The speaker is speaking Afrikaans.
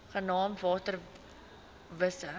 genaamd water wise